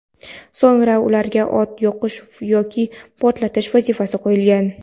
so‘ngra ularga o‘t yoqish yoki portlatish vazifasi qo‘yilgan.